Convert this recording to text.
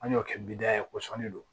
An y'o kɛ bida ye kosɔn ne do